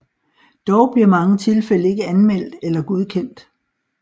Dog bliver mange tilfælde ikke anmeldt eller godkendt